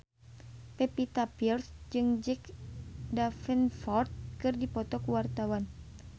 Pevita Pearce jeung Jack Davenport keur dipoto ku wartawan